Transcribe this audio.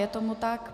Je tomu tak.